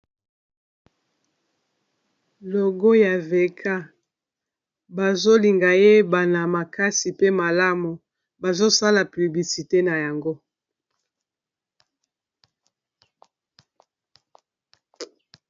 logo ya veka bazolinga yebana makasi pe malamu bazosala piblisite na yango